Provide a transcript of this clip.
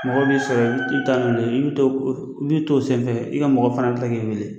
Mɔgɔ bɛ sɔrɔ i bɛ taa nɔ de, i bɛ to i bɛ to o senfɛ i ka mɔgɔ fana bɛ kila ki wele.